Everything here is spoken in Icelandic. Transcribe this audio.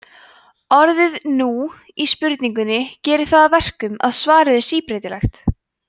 orðið núna í spurningunni gerir það að verkum að svarið er síbreytilegt